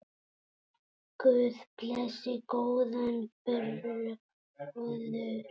Guð blessi góðan bróður!